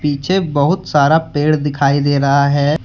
पीछे बहुत सारा पेड़ दिखाई दे रहा है।